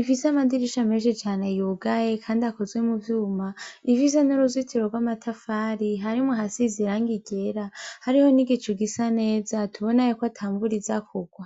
ifise amadirisha menshi cane yugaye, kandi akoze muvyuma, ifise n'uruzitiro rw'amatafari harimwo ahasize irangi ryera, hariho n'igicu gisa neza tubona yuko atamvura iza kurwa.